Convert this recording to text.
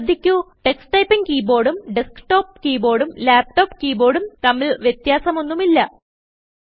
ശ്രദ്ധിക്കു Tux typing keyboardഉം desktop keyboard ഉം laptop keyboardഉം തമ്മിൽ വ്യത്യാസം ഒന്നുമില്ല